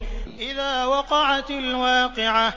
إِذَا وَقَعَتِ الْوَاقِعَةُ